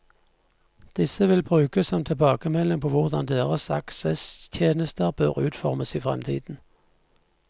Disse vil brukes som tilbakemelding på hvordan deres aksesstjenester bør utformes i fremtiden.